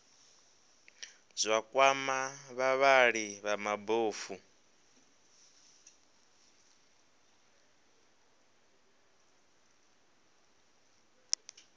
zwa kwama vhavhali vha mabofu